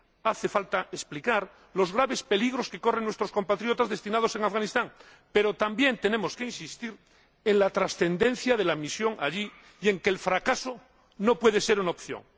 Hace falta explicar los graves peligros que corren nuestros compatriotas destinados en Afganistán, pero también tenemos que insistir en la trascendencia de la misión allí y en que el fracaso no puede ser una opción.